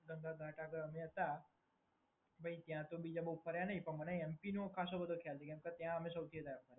ગંગા ઘાટ આગળ અમે હતા ત્યાં તો અમે બવ ફર્યા નહીં પણ મને એમપીનો ખાસો બધો ખ્યાલ છે કેમ કે ત્યાં અમે સૌથી વધારે હતા.